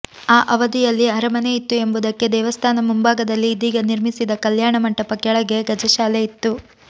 ಆ ಅವಧಿಯಲ್ಲಿ ಅರಮನೆ ಇತ್ತು ಎಂಬುದಕ್ಕೆ ದೇವಸ್ಥಾನ ಮುಂಭಾಗದಲ್ಲಿ ಇದೀಗ ನಿರ್ಮಿಸಿದ ಕಲ್ಯಾಣ ಮಂಟಪ ಕೆಳಗೆ ಗಜಶಾಲೆ ಇತ್ತು